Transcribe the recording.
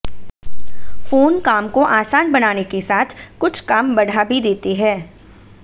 phone काम को आसान बनाने के साथ कुछ काम बढ़ा भी देते हैं